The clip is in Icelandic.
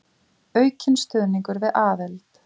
Aukinn stuðningur við aðild